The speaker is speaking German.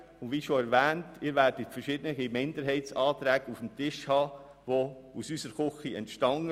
Wie schon erwähnt, werden Sie verschiedene Minderheitsanträge vorliegend haben, die aus unserer Küche stammen.